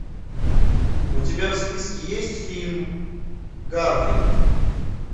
у тебя в списке есть фильм гарфилд